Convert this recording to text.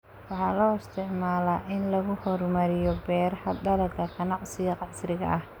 Waxaa loo isticmaalaa in lagu horumariyo beeraha dalagga ganacsiga casriga ah.